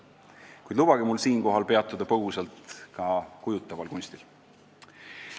Kuid lubage mul siinkohal peatuda põgusalt ka kujutaval kunstil.